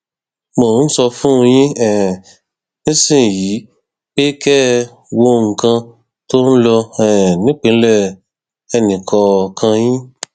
mo ń sọ fún yín um nísìnyìí pé kẹ ẹ wo nǹkan tó ń lọ um nípìnlẹ ẹnìkọọkan yín